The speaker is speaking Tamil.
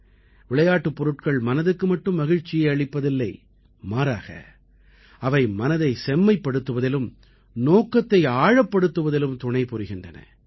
விளையாட்டுப் பொருட்கள் மனதுக்கு மட்டும் மகிழ்ச்சியை அளிப்பதில்லை மாறாக அவை மனதை செம்மைப்படுத்துவதிலும் நோக்கத்தை ஆழப்படுத்துவதிலும் துணை புரிகின்றன